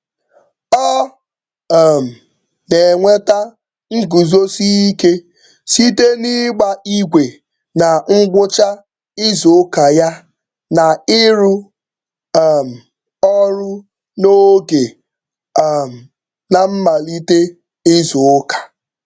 Ọ um na-enweta nguzosi ike site n'ịgba igwe na ngwụcha izuụka ya na ịrụ um ọrụ n'oge um na mmalite izuụka.